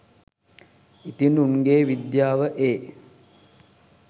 ඉතින් උන්ගෙ විද්‍යාව එ